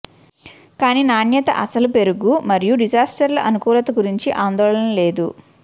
కానీ నాణ్యత అసలు పెరుగు మరియు డిజర్ట్లు అనుకూలత గురించి ఆందోళన లేదు